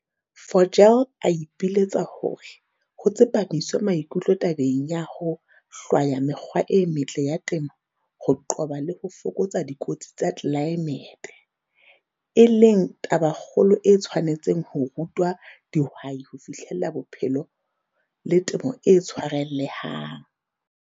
Vogel a ipiletsa hore ho tsepamiswe maikutlo tabeng ya ho hlwaya mekgwa e metle ya temo ho qoba le ho fokotsa dikotsi tsa tlelaemete, e leng tabakgolo e tshwanetseng ho rutwa dihwai ho fihlella bophelo le temo e tshwarellang.